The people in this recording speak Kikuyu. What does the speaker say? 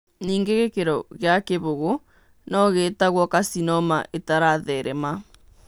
Ningĩ gĩkĩro gĩa kĩbũgũ no gĩĩtagwo carcinoma ĩtaratheerema.